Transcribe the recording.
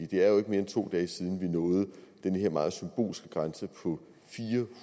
det er jo ikke mere end to dage siden vi nåede den her meget symbolske grænse på fire